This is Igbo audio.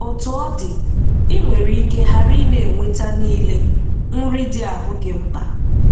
Otú ọ dị, i nwere ike ghara ị na-enweta niile nri dị ahụ gị mkpa.